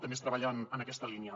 també es treballa en aquesta línia